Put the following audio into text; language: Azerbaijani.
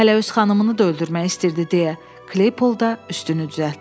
Hələ öz xanımını da öldürmək istəyirdi deyə Kleybolda üstünü düzəltdi.